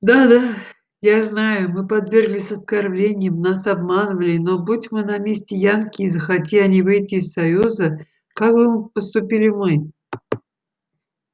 да да я знаю мы подвергались оскорблениям нас обманывали но будь мы на месте янки и захоти они выйти из союза как бы поступили мы